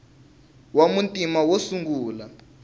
wa muntima wo sungula